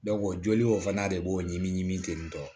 joli o fana de b'o ɲimi ɲimi ten tɔ